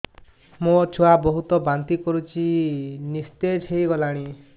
ମୋ ଛୁଆ ବହୁତ୍ ବାନ୍ତି କରୁଛି ନିସ୍ତେଜ ହେଇ ଗଲାନି